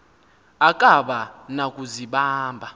akaba na kuzibamba